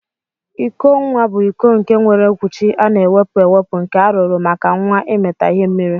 Iko nwa bu iko nke nwere okwuchi ana ewepu ewepu nke arụrụ maka nwa imita ihe mmiri.